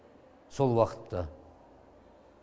сол уақытта